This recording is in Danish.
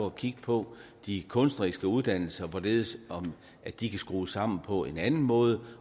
at kigge på de kunstneriske uddannelser hvorledes de kan skrues sammen på en anden måde